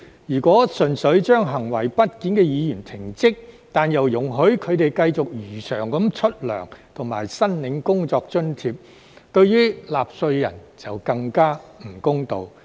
如果純粹將行為不檢的議員停職，但又容許他們繼續如常領取工資及申領工作津貼，對納稅人就更加不公道。